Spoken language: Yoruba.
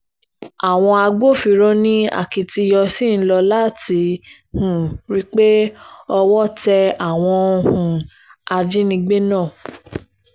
àwọn agbófinró ní akitiyan ṣì ń lò láti um rí i pé owó tẹ àwọn um ajínigbé náà